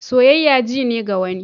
Soyayya ji ne ga wani.